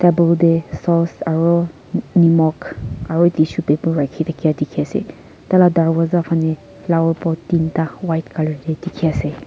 table tey sauce aro nimok aru tissue paper raki thaki dikhi ase taila darvazah phaney flower pot tinta white colour tey dikhi ase.